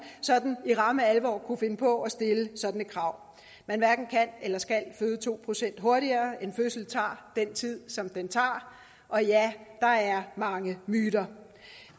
sådan i ramme alvor kunne finde på at stille sådan et krav man hverken kan eller skal føde to procent hurtigere en fødsel tager den tid som den tager og ja der er mange myter